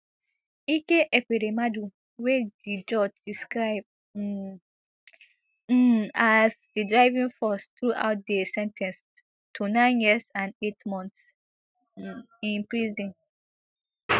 ike ekweremadu wey di judge describe um um as di driving force throughout dey sen ten ced to nine years and eight months um in prison